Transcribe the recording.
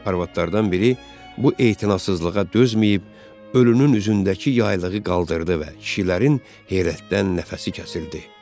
Arvadlardan biri bu etinasızlığa dözməyib, ölünün üzündəki yaylığı qaldırdı və kişilərin heyrətdən nəfəsi kəsildi.